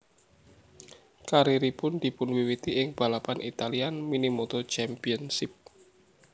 Karieripun dipunwiwiti ing balapan Italian Minimoto Championship